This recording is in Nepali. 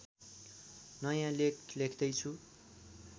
नयाँ लेख लेख्दैछु